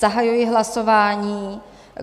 Zahajuji hlasování.